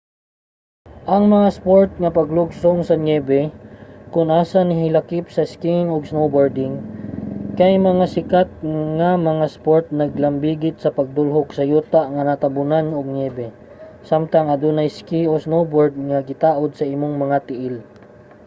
ang mga sport nga paglugsong sa niyebe kon asa nahilakip ang skiing ug snowboarding kay mga sikat nga mga sport nga naglambigit sa pagdulhog sa yuta nga natambunan ug niyebe samtang adunay ski o snowboard nga gitaod sa imong mga tiil